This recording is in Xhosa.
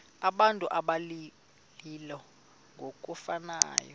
abantu abalili ngokufanayo